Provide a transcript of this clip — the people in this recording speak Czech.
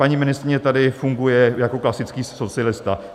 Paní ministryně tady funguje jako klasický socialista.